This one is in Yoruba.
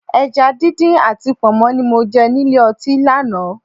Ẹja díndín àti Pọ̀nmọ́ ni mo jẹ nílé ọtí lánàá